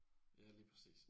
Ja lige præcis